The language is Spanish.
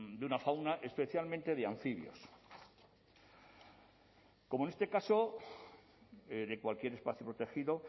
de una fauna especialmente de anfibios como en este caso de cualquier espacio protegido